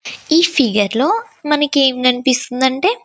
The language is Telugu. ఈ ఫియర్ లో మనకి ఎంతనిపిస్తుందంటే--